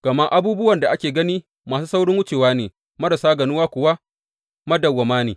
Gama abubuwan da ake gani masu saurin wucewa ne, marasa ganuwa kuwa, madawwama ne.